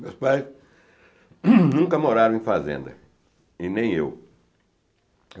Meus pais nunca moraram em fazenda, e nem eu.